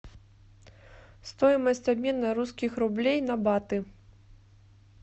стоимость обмена русских рублей на баты